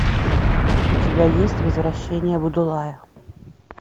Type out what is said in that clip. у тебя есть возвращение будулая